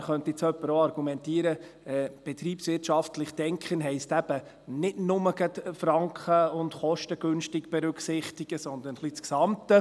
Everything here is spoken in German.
Klar könnte nun jemand auch argumentieren, betriebswirtschaftlich zu denken heisse eben nicht nur gerade die Franken und die Kostengünstigkeit zu berücksichtigen, sondern ein wenig das Gesamte.